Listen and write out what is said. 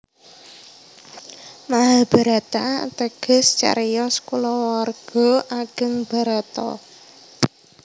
Mahabharata ateges cariyos kulawarga ageng Bharata